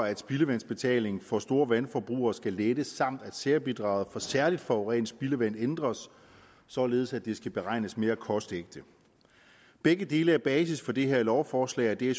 at spildevandsbetaling for store vandforbrugere skal lettes samt at særbidraget for særlig forurenet spildevand ændres således at det skal beregnes mere kostægte begge dele er basis for det her lovforslag og det er